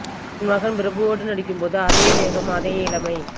தன் மகன் பிரபுவோடு நடிக்கும் போது அதே வேகம் அதே இளமை